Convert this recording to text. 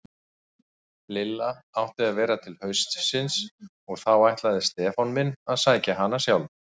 Lilla átti að vera til haustsins og þá ætlaði Stefán minn að sækja hana sjálfur.